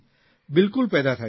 બિલકુલ પેદા થાય છે